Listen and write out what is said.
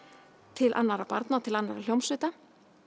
til annarra barna og til annarra hljómsveita